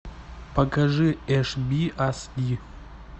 покажи эш би ас и